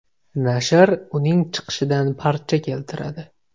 Nashr uning chiqishidan parcha keltiradi.